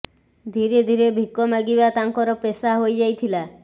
ଧିରେ ଧିରେ ଭିକ ମାଗିବା ତାଙ୍କର ପେଷା ହୋଇ ଯାଇଥିଲା